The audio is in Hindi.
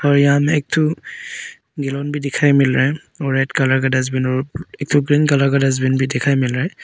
और यहां में एक ठो भी दिखाई मिल रहा है और रेड कलर का डस्टबिन और एक ठो ग्रीन कलर का डस्टबिन भी दिखाई मिल रहा है।